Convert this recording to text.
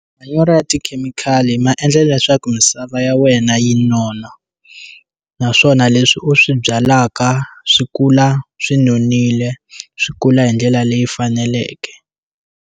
Manyoro ya tikhemikhali ma endla leswaku misava ya wena yi nona naswona leswi u swi byalaka swi kula swi nonile swi kula hi ndlela leyi faneleke.